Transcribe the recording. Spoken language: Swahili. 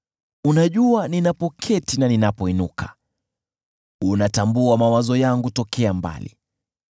Unajua ninapoketi na ninapoinuka; unatambua mawazo yangu tokea mbali.